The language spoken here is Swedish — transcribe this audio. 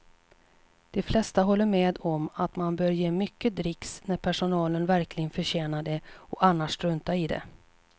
De flesta håller med om att man bör ge mycket dricks när personalen verkligen förtjänar det och annars strunta i det.